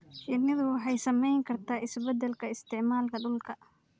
Shinnidu waxay saamayn kartaa isbeddelka isticmaalka dhulka.